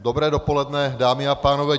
Dobré dopoledne, dámy a pánové.